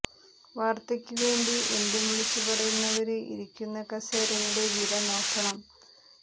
വാര്ത്തയ്ക്ക് വേണ്ടി എന്തും വിളിച്ചു പറയുന്നവര് ഇരിക്കുന്ന കസേരയുടെ വില നോക്കണം